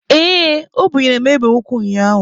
Ee, o bunyere m egbe ukwu ụnyaahụ.